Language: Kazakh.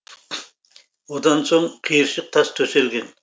одан соң қиыршық тас төселген